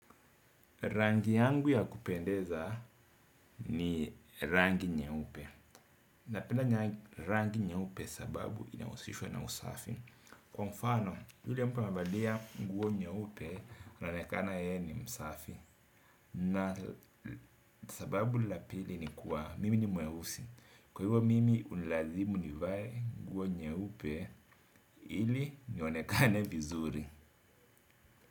Rangi yangu ya kupendeza ni rangi nyeupe. Napenda rangi nyeupe sababu inahusishwa na usafi. Kwa mfano, yule amevalia nguo nyeupe anaonekana yeye ni msafi. Na sababu la pili ni kuwa, mimi ni mweusi. Kwa hivyo mimi hunilazimu nivae nguo nyeupe ili nionekane vizuri.